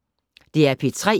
DR P3